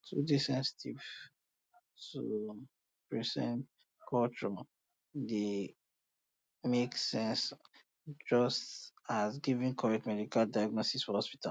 to dey sensitive to persin culture dey make sense just as giving correct medical diagnosis for hospital